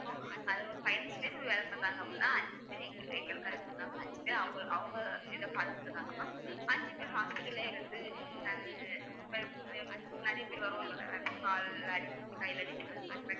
அது ஒரு பதினைந்து பேர் வேலை பார்த்தாங்க அப்படின்னா அஞ்சு பேர் எங்க~ எங்களுக்கு அஞ்சு இருக்கு அவுங்களுக்கு அவங்க இதை பாத்துட்டு இருந்தாங்க ma'am அஞ்சு பேர் hospital லயே இருந்து அது அஹ் ப்~ பிர~ நிறைய பேர் வருவாங்கல கால்ல அடி கைல அடி அவங்~